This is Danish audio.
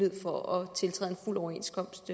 fuld overenskomst